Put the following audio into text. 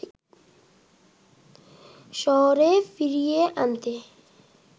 শহরে ফিরিয়ে আনতে